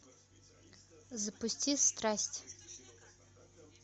запусти страсть